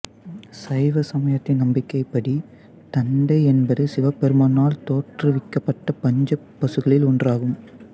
சைவ சமயத்தின் நம்பிக்கைப் படி தந்தை என்பது சிவபெருமானால் தோற்றுவிக்கப்பட்ட பஞ்ச பசுக்களில் ஒன்றாகும்